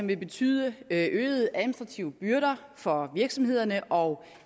vil betyde øgede administrative byrder for virksomhederne og